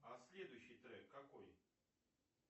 а следующий трек какой